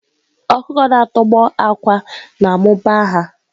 Ọkụkọ na-atọgbọ àkwá na-amụba ha.